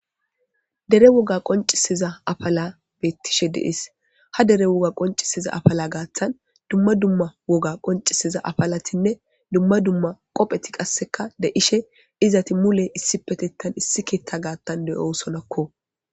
dere woga qoncisiza afala beettishe de'es ha dere woga qoncisiza afala gaaththan dumma dumma woga qoncisiza afalatinne dumma dumma qopheti qasseka deishe izati mule issi petettan issi keetha gaattan de7osonakko